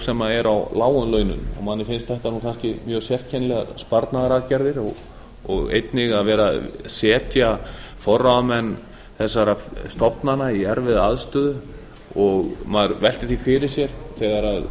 sem er á lágum launum og manni finnst þetta kannski mjög sérkennilegar sparnaðaraðgerðir og einnig að vera að setja forráðamenn þessara stofnana í erfiða aðstöðu og maður veltir því fyrir sér þegar